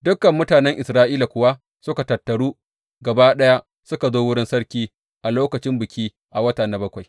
Dukan mutanen Isra’ila kuwa suka tattaru gaba ɗaya suka zo wurin sarki a lokacin biki a wata na bakwai.